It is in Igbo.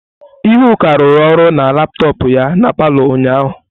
Ihuaku rụru ọrụ na laptọọpụ ya na palọ ụnyahụ.